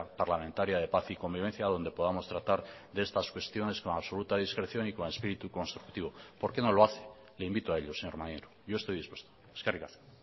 parlamentaria de paz y convivencia donde podamos tratar de estas cuestiones con absoluta discreción y con espíritu constructivo por qué no lo hace le invito a ello señor maneiro yo estoy dispuesto eskerrik asko